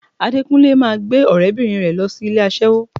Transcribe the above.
Adékúnlé máa gbé ọ̀rẹ́bìnrin rẹ̀ lọ ilé aṣẹ́wó